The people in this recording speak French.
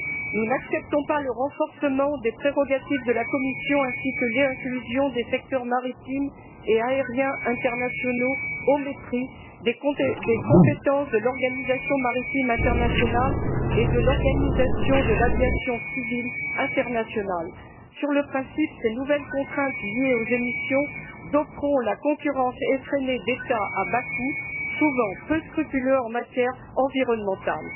Nous n'acceptons pas le renforcement des prérogatives de la Commission ni l'inclusion des secteurs maritimes et aériens internationaux au mépris des compétences de l'Organisation maritime internationale et de l'Organisation de l'aviation civile internationale. Sur le principe, ces nouvelles contraintes liées aux émissions doperont la concurrence effrénée d'États à bas coût, souvent peu scrupuleux en matière environnementale.